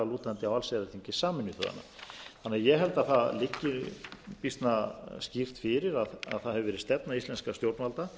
sameinuðu þjóðanna ég held því að það liggi býsna skýrt fyrir að það hefur verið stefna íslenskra stjórnvalda